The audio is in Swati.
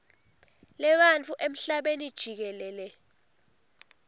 lebantfu emhlabeni jikelele